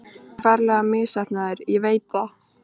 Ég er ferlega misheppnaður, ég veit það.